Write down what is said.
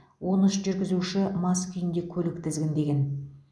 он үш жүргізуші мас күйде көлік тізгіндеген